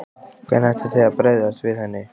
Hvernig ætlið þið að bregðast við henni?